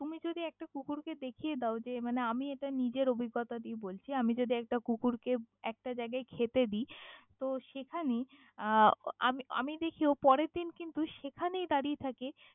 তুমি যদি একটা কুকুর কে দেখিয়া দাও যে মানে আমি এটা নিজের অভিজ্ঞতা দিয়ে বলছি আমি যদি একটা কুকুরকে একটা জাইগাই খেতে দি, তহ সেখানে আহ আমি আমি দেখি ও পরের দিন কিন্তু সেখানেই দারিয়ে থাকে।